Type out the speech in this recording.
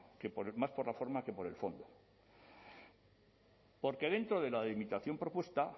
que más por la forma que por el fondo porque dentro de la delimitación propuesta